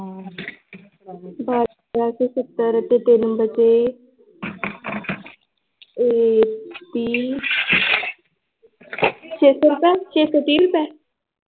ਬਾਰਾਂ ਸੌ ਸੱਤਰ ਤੇ ਤਿੰਨ ਵਚੇ ਏ ਪੀ ਛੇ ਸੌ ਰੁਪਏ ਛੇ ਸੌ ਤੀਹ ਰੁਪਏ l